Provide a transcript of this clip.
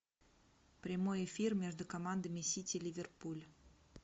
прямой эфир между командами сити ливерпуль